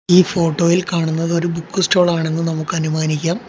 ഈ ഫോട്ടോയിൽ കാണുന്നത് ഒരു ബുക്ക് സ്റ്റോൾ ആണെന്ന് നമുക്ക് അനുമാനിക്കാം.